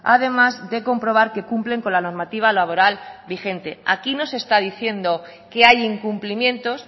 además de comprobar que cumplen con la normativa laboral vigente aquí no se está diciendo que hay incumplimientos